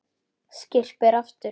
Skyrpir aftur.